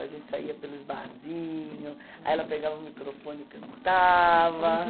A gente saía pelos barzinhos, aí ela pegava o microfone e cantava.